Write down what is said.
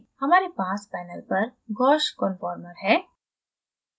हमारे पास panel पर gauche conformer है